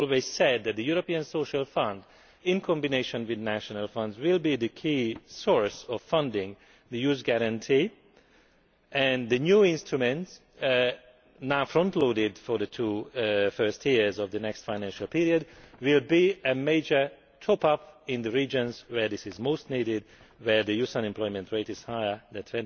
We always said that the European Social Fund, in combination with national funds, will be the key source of funding for the Youth Guarantee, and the new instruments, now frontloaded for the two first years of the first financial period, will be a major top up in the regions where this is most needed, where the youth unemployment rate is higher than